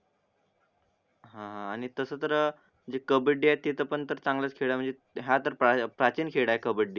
हा आणि तास तर कब्बडीया ते तर पण चांगलाच खेळाल हा तर प्राचीन खेळ आहे कबड्डी